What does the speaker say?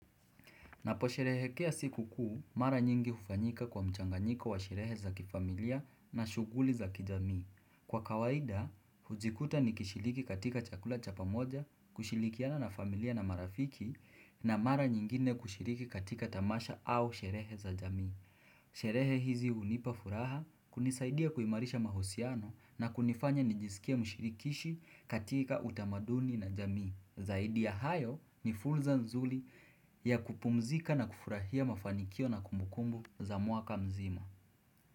Napo sherehekea siku kuu, mara nyingi hufanyika kwa mchanganyiko wa sherehe za kifamilia na shughuli za kijamii. Kwa kawaida, hujikuta nikishiriki katika chakula cha pamoja, kushirikiana na familia na marafiki, na mara nyingine kushiriki katika tamasha au sherehe za jamii. Sherehe hizi hunipa furaha, kunisaidia kuimarisha mahusiano na kunifanya nijisikie mshirikishi katika utamaduni na jamii. Zaidi ya hayo ni fulza nzuli ya kupumzika na kufurahia mafanikio na kumbukumbu za mwaka mzima.